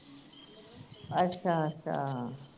ਅੱਛਾ ਅੱਛਾ